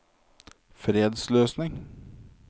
fredsløsning